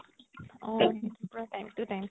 অ পুৰা time to time